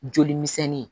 Joli misɛnnin ye